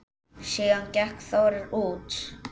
Síðan gekk Þórir út.